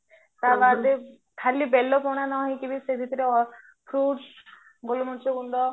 ତାବାଦେ ଖାଲି ବେଲ ପଣା ନହେଇକି ସେଇଭିତରେ foods ଗୋଲମରୀଚ ଗୁଣ୍ଡ